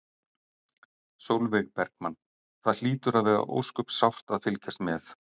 Sólveig Bergmann: Það hlýtur að vera ósköp sárt að fylgjast með?